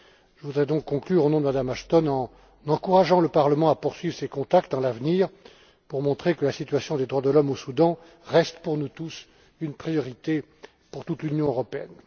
Je voudrais donc conclure, au nom de Mme Ashton, en encourageant le Parlement à poursuivre ces contacts dans l'avenir, pour montrer que la situation des droits de l'homme au Soudan reste, pour nous tous, une priorité de toute l'Union européenne.